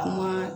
Kuma